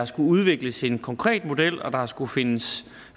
skullet udvikles en konkret model og der har skullet findes